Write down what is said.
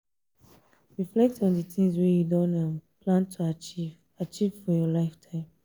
reflect on di things wey you don um plan to achieve achieve for your lifetime